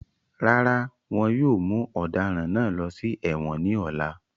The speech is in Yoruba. Rárá wọn yóò mu ọ̀daràn náà lọ sí èwọ̀n ní ọ̀la